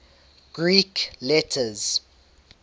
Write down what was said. greek letters